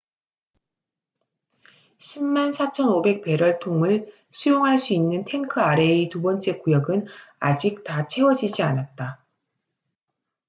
104,500 베럴 통을 수용할 수 있는 탱크 아래의 두 번째 구역은 아직 다 채워지지 않았다